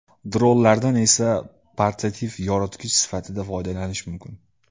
Dronlardan esa portativ yoritgich sifatida foydalanish mumkin.